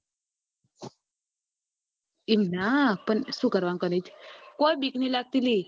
એમ ના પણ શું કરવાનું કોઈ બીક નઈ લાગતી લી